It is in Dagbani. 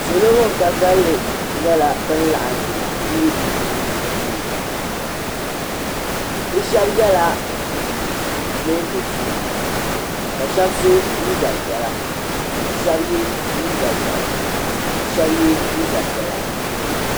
Salo bin ka kalinli nyɛla bin laɣim bɛ piibu piibu shee bi shɛba yɛla niɛn dozim ka shɛba so jinjam piɛla ka shɛba yɛ liiga ʒiɛhi ka shɛba yɛ liiga piɛla.